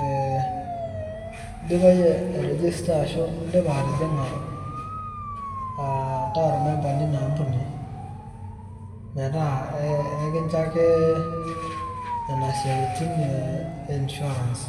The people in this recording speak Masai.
eh idipa yie airejesta ashu idipa atijing'a ataa ormemba linaampuni, metaa ekincho ake nena siaitin e insurance.